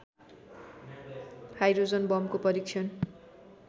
hydrogen बमको परीक्षण